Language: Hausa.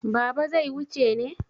Baba zai wuce ne?